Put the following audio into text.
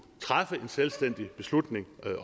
træffe en selvstændig beslutning